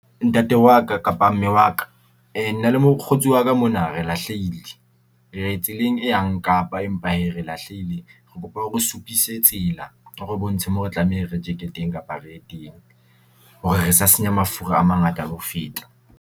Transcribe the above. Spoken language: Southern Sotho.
Ntate wa ka kapa mme wa ka nna le mokgotsi wa ka mona re lahleile. Re tseleng e yang Kapa empa hee re lahlehile, re kopa o re supise tsela o re bontshe mo re tlameha re teng kapa re ye teng hore re sa senya mafura a mangata ho feta.